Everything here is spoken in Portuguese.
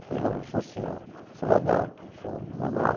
Eu falei, não, não sou o senhor, sou o Adalto, sou normal.